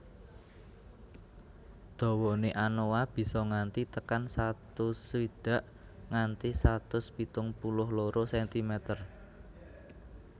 Dawane anoa bisa nganti tekan satu swidak nganti satus pitung puluh loro sentimeter